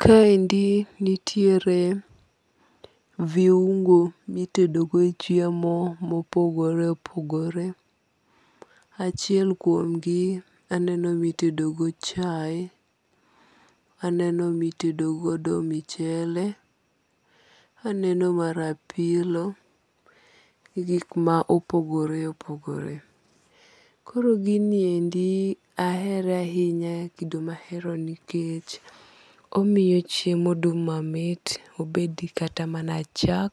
Ka endi nitiere viuongo mi itedo go chiemo ma opogore opogore. Achiel kuom gi aneno mi itedo go chaye, aneno mi itedo go mchele, aneno mar apilo, gik ma opogore opogore. Koro gin ni endi ahere ahinya kendo ma haero nikech omiyo chiemo dum ma mit, obed kata mana chak,